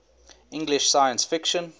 english science fiction